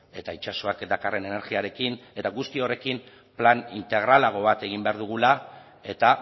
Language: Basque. eta itsasoak dakarren energiarekin eta guzti horrekin plan integralago bat egin behar dugula eta